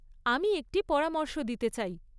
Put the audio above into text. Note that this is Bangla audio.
আমি একটি পরামর্শ দিতে চাই।